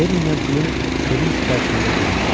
Lenninlə Plüm sevinc içərisində gülümsədi.